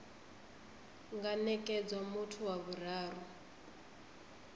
nga nekedzwa muthu wa vhuraru